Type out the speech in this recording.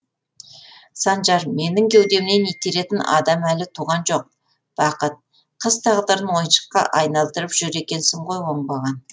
санжар менің кеудемнен итеретін адам әлі туған жоқ бақыт қыз тағдырын ойыншыққа айналдырып жүр екенсің ғой оңбаған